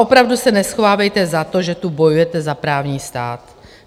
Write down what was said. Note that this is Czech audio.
Opravdu se neschovávejte za to, že tu bojujete za právní stát.